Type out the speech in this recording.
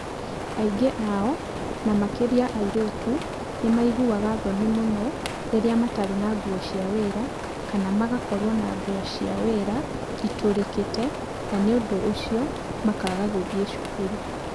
"Aingĩ ao, na makĩria airĩtu, nĩ maiguaga thoni mũno rĩrĩa matarĩ na nguo cia wĩra kana magakorũo na nguo cia wĩra itũrĩkĩte na nĩ ũndũ ũcio makaaga gũthiĩ cukuru.